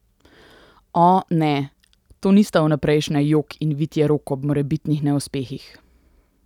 O, ne, to nista vnaprejšnja jok in vitje rok ob morebitnih neuspehih.